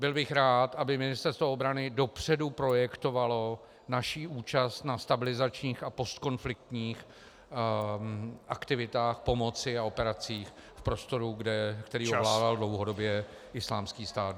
Byl bych rád, aby Ministerstvo obrany dopředu projektovalo naši účast na stabilizačních a postkonfliktních aktivitách pomoci a operacích v prostoru , který ovládal dlouhodobě Islámský stát.